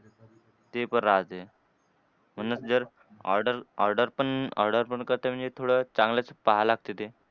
ते पण राहते. म्हणूनच जर order order पण order पण करते म्हणजे थोडं चांगलंच पाहायला लागते ते.